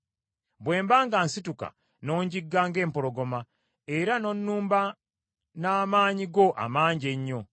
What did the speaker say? Bwe mba ng’asituka, n’onjigga ng’empologoma, era n’onnumba n’amaanyi go amangi ennyo.